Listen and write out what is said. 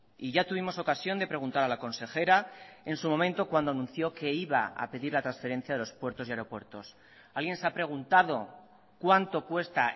y ya tuvimos ocasión de preguntar a la consejera en su momento cuando anunció que iba a pedir la transferencia de los puertos y aeropuertos alguien se ha preguntado cuánto cuesta